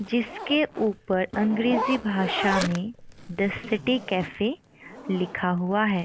जिसके ऊपर अंग्रेजी भाषा में द सिटी कैफे लिखा हुआ है।